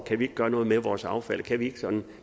kan vi ikke gøre noget med vores affald kan vi ikke sådan